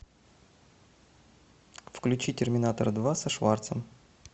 включи терминатор два со шварцем